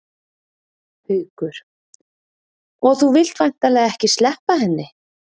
Haukur: Og þú vilt væntanlega ekki sleppa henni?